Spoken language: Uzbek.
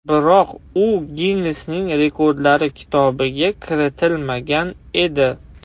Biroq u Ginnesning Rekordlar kitobiga kiritilmagan edi.